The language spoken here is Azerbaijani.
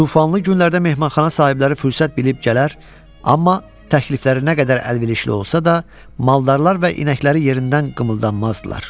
Tufanlı günlərdə mehmanxana sahibləri fürsət bilib gələr, amma təklifləri nə qədər əlverişli olsa da, maldarlar və inəkləri yerindən qımıldanmazdılar.